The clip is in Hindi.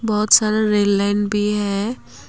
बहुत सारा रेल लाइन भी है।